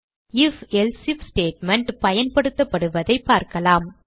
IfElse IF statement பயன்படுத்தப்படுவதைப் பார்க்கலாம்